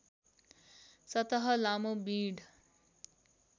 सतह लामो बिँड